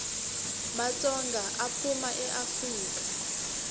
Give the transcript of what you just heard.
matsonga aphuma eafrika